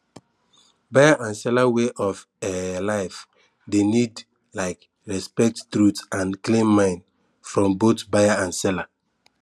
buyer and seller way of um life dey need um respect truth and clean mind from both buyer and seller